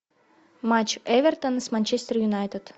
матч эвертон с манчестер юнайтед